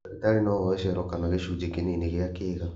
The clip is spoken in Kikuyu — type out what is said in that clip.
Ndagĩtarĩ no oe cero kana gĩcunjĩ kĩnini gĩa kĩga